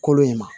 Kolo in ma